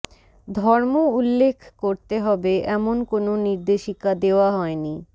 ধর্ম উল্লেখ করতে হবে এমন কোনও নির্দেশিকা দেওয়া হয়নি